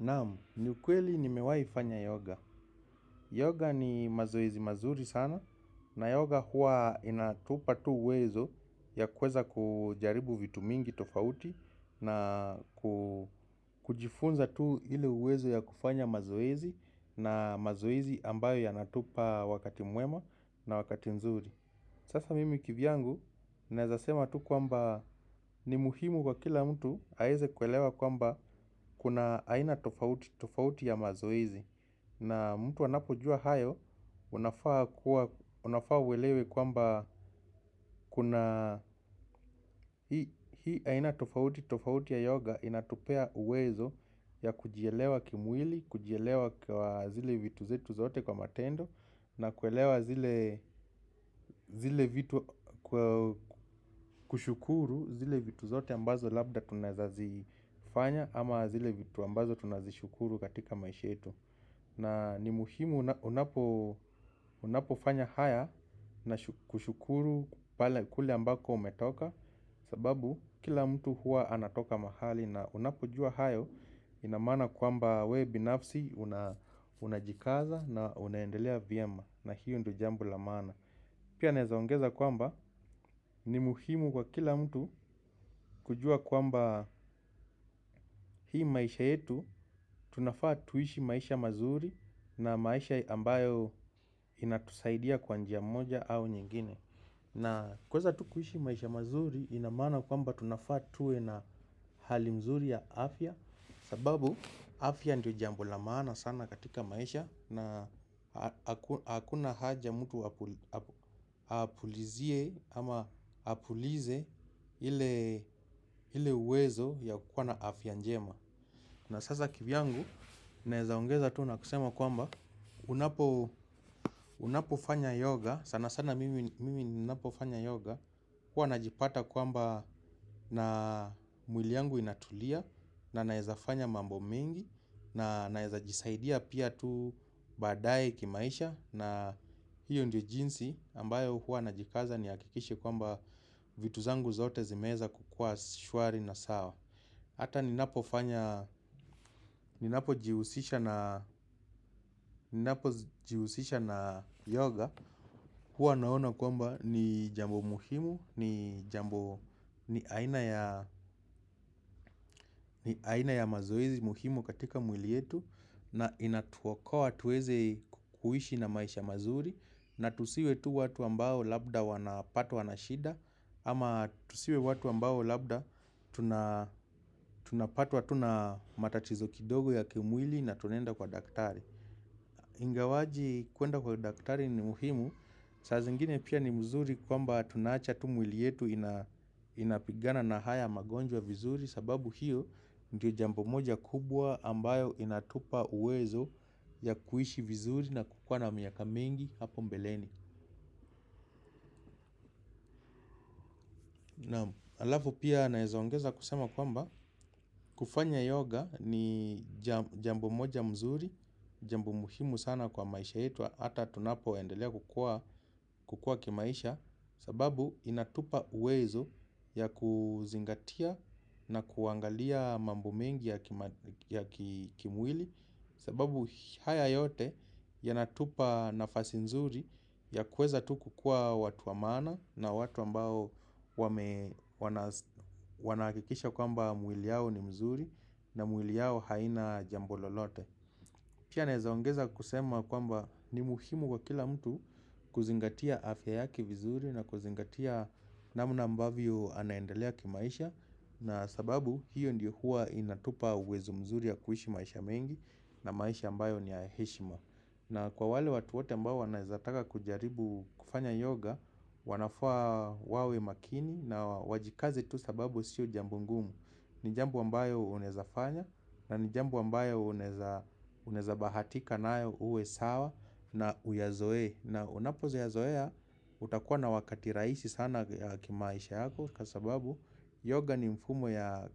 Nam, ni ukweli nimewahi fanya yoga. Yoga ni mazoezi mazuri sana na yoga huwa inatupa tu uwezo ya kuweza kujaribu vitu mingi tofauti na kujifunza tu ile uwezo ya kufanya mazoezi na mazoezi ambayo yanatupa wakati mwema na wakati nzuri. Sasa mimi kivyangu, nawezasema tu kwamba ni muhimu kwa kila mtu aweze kuelewa kwamba kuna aina tofauti tofauti ya mazoezi. Na mtu anapojua hayo, unafaa uelewe kwamba kuna hii aina tofauti tofauti ya yoga inatupea uwezo ya kujielewa kimwili, kujielewa kwa zile vitu zetu zote kwa matendo na kuelewa zile vitu kushukuru zile vitu zote ambazo labda tunaweza zifanya ama zile vitu ambazo tunazishukuru katika maisha yetu na ni muhimu unapofanya haya na kushukuru kule ambako umetoka. Sababu kila mtu huwa anatoka mahali na unapojua hayo ina maana kwamba wewe binafsi unajikaza na unaendelea vyema na hiyo ndio jambo la maana pia naweza ongeza kwamba ni muhimu kwa kila mtu kujua kwamba hii maisha yetu tunafaa tuishi maisha mazuri na maisha ambayo inatusaidia kwa njia moja au nyingine na kuweza tu kuishi maisha mazuri ina maana kwamba tunafaa tuwe na hali mzuri ya afya sababu afya ndio jambo la maana sana katika maisha na hakuna haja mtu apulizie ama apulize ile uwezo ya kuwa na afya njema na sasa kivyangu naweza ongeza tu na kusema kwamba unapofanya yoga sana sana mimi ninapofanya yoga huwa najipata kwamba na mwili yangu inatulia na naweza fanya mambo mingi. Na nawezajisaidia pia tu baadaye kimaisha na hiyo ndio jinsi ambayo huwa najikaza nihakikishe kwamba vitu zangu zote zimeweza kukuwa shwari na sawa. Hata ninapo jihusisha na yoga huwa naona kwamba ni jambo muhimu, ni aina ya ya mazoezi muhimu katika mwili yetu na inatuokoa tuweze kuishi na maisha mazuri na tusiwe tu watu ambao labda wanapatwa na shida ama tusiwe watu ambao labda tunapatwa tu na matatizo kidogo ya kimwili na tunaenda kwa daktari. Ingawaje kuenda kwa daktari ni muhimu. Saa zingine pia ni mzuri kwamba tunawacha tu mwili yetu inapigana na haya magonjwa vizuri sababu hiyo ndio jambo moja kubwa ambayo inatupa uwezo ya kuishi vizuri na kukuwa na miaka mingi hapo mbeleni. Alafu pia naweza ongeza kusema kwamba kufanya yoga ni jambo moja mzuri. Jambo muhimu sana kwa maisha yetu hata tunapoendelea kukua kimaisha sababu inatupa uwezo ya kuzingatia na kuangalia mambo mengi ya kimwili. Sababu haya yote yanatupa nafasi nzuri ya kuweza tu kukuwa watu wa maana na watu ambao wanahakikisha kwamba mwili yao ni mzuri na mwili yao haina jambo lolote. Pia naweza ongeza kusema kwamba ni muhimu kwa kila mtu kuzingatia afya yake vizuri na kuzingatia namna ambavyo anaendelea kimaisha na sababu hio ndio huwa inatupa uwezo mzuri ya kuishi maisha mengi na maisha ambayo ni ya heshima. Na kwa wale watu wote ambao wanawezataka kujaribu kufanya yoga wanafaa wawe makini na wajikaze tu sababu sio jambo ngumu. Ni jambo ambayo unawezafanya na ni jambo ambayo unaweza bahatika nayo uwe sawa na uyazoe. Na unapoyazoea utakuwa na wakati rahisi sana kimaisha yako. Kwa sababu yoga ni mfumo ya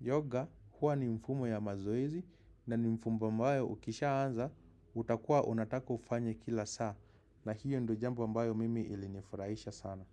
yoga. Huwa ni mfumo ya mazoezi. Na ni mfumo ambayo ukishaanza utakua unataka ufanye kila saa. Na hiyo ndio jambo ambayo mimi ilinifurahisha sana.